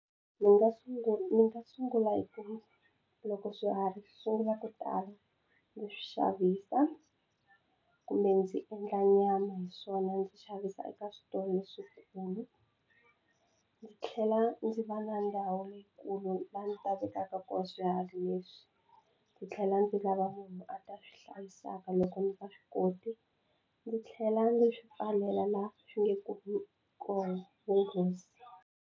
Ni nga ni nga sungula hi ku loko swiharhi swi sungula ku tala ni swi xavisa kumbe ndzi endla nyama hi swona ndzi xavisa eka switolo leswikulu. Ndzi tlhela ndzi va na ndhawu leyikulu laha ndzi ni ta vekaka kona swiharhi leswi ndzi tlhela ndzi lava munhu a ta swi hlayisaka loko ndzi nga swi koti ndzi tlhela ndzi swi pfalela laha swi nge kumi kona vunghozi.